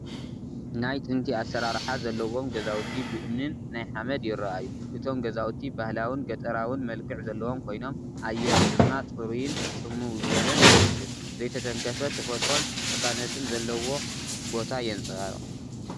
ናይ ጥንቲ ኣሰራርሓ ዘለዎም ገዛውቲ ብእምኒን ናይ ሓመድ ይረአዩ፡፡ እቶም ገዛውቲ ባህላውን ገጠራውን መልክዕ ዘለዎም ኮይኖም፡ ኣየር ድማ ጽሩይን ጽምው ዝበለን ይመስል። ዘይተተንከፈ ተፈጥሮን ቅሳነትን ዘለዎ ቦታ የንፀባርቕ፡፡